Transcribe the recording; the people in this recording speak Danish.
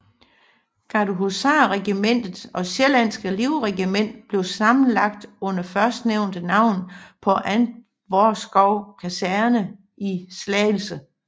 Gardehusarregimentet og Sjællandske Livregiment blev sammenlagt under førstnævnte navn på Antvorskov Kaserne i Slagelse